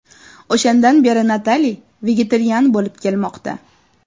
O‘shandan beri Natali vegetarian bo‘lib kelmoqda.